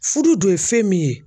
Fudu dun ye fɛn min ye